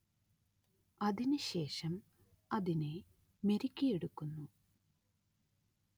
അതിനു ശേഷം അതിനെ മെരുക്കിയെടുക്കുന്നു